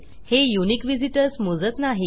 हे unique visitors मोजत नाही